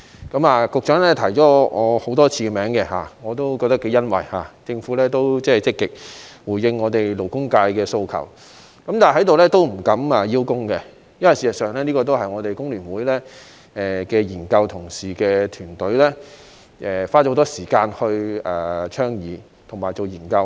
局長多次提到我的名字，我感到頗欣慰的是，政府積極回應勞工界的訴求，但我在這裏不敢邀功，因為事實上這是香港工會聯合會研究團隊的同事花了很多時間倡議和進行研究的。